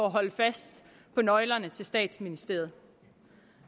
holde fast på nøglerne til statsministeriet